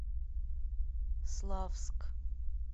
славск